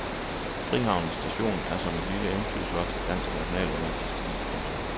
Frihavnens station er som et lille eventyrslot i dansk nationalromantisk stil. punktum